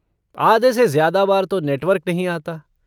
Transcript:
आधे से ज़्यादा बार तो नेटवर्क नहीं आता।